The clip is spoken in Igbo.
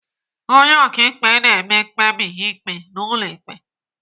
Onye ọkaikpe na-eme mkpebi ikpe n'ụlọ ike.